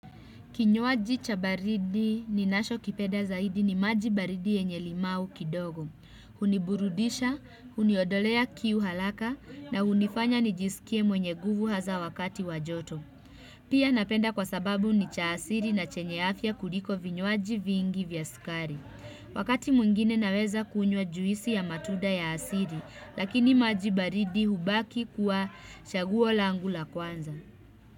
Kinywaji chabaridi ninasho kipenda zaidi ni majibaridi yenye limau kidogo. Huniburudisha, uniodolea kiu haraka na unifanya nijisikie mwenye nguvu haza wakati wajoto. Pia napenda kwa sababu ni cha asiri na chenye afya kuliko vinywaji vingi vya sukari. Wakati mwingine naweza kunywa juisi ya matunda ya asiri, lakini majibaridi hubaki kuwa chaguo langu la kwanza.